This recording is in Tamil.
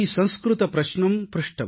प्रश्नं पृष्टवती |